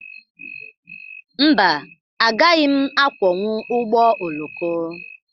Mba, agaghị m akwọnwu ụgbọ oloko.